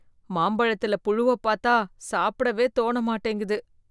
மாம்பழத்துல புழுவ பாத்தா சாப்டவே தோண மாட்டேங்குது